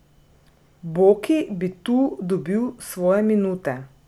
Boki bi tu dobil svoje minute.